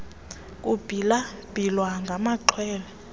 kubhila bhilwa ngamaxhwele